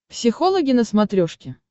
психологи на смотрешке